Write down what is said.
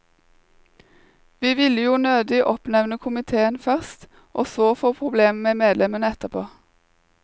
Vi ville jo nødig oppnevne komiteen først, og så få problem med medlemmene etterpå.